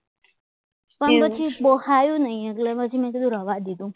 પણ પછી બહુ પાયોની એટલે મેં કીધું રહેવા દે